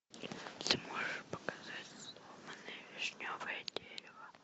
ты можешь показать сломанное вишневое дерево